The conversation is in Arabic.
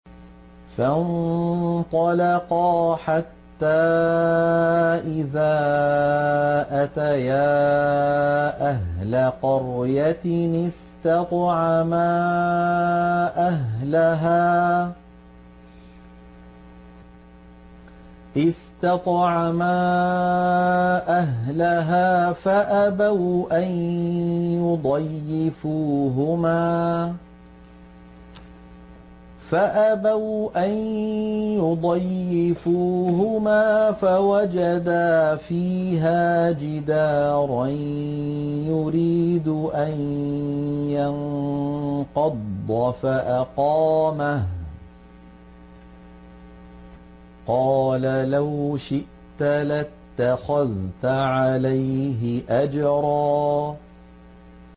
فَانطَلَقَا حَتَّىٰ إِذَا أَتَيَا أَهْلَ قَرْيَةٍ اسْتَطْعَمَا أَهْلَهَا فَأَبَوْا أَن يُضَيِّفُوهُمَا فَوَجَدَا فِيهَا جِدَارًا يُرِيدُ أَن يَنقَضَّ فَأَقَامَهُ ۖ قَالَ لَوْ شِئْتَ لَاتَّخَذْتَ عَلَيْهِ أَجْرًا